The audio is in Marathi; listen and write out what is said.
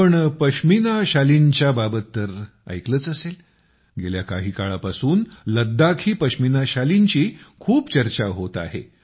आपण पश्मिना शालींच्याबात तर ऐकलंच असेलगेल्या काही काळापासून लद्दाखी पश्मिना शालींची खूप चर्चा होत आहे